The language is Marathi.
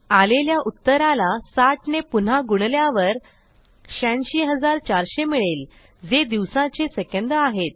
आलेल्या उत्तराला 60ने पुन्हा गुणल्यावर 86400 मिळेल जे दिवसाचे सेकंद आहेत